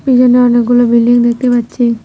এইখানে অনেকগুলো বিল্ডিং দেখতে পাচ্ছি।